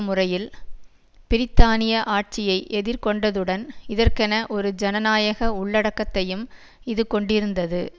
முறையில் பிரித்தானிய ஆட்சியை எதிர் கொண்டதுடன் இதற்கென ஒரு ஜனநாயக உள்ளடக்கத்தையும் இது கொண்டிருந்தது